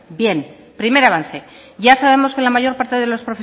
bien primer avance ya sabemos que la mayor parte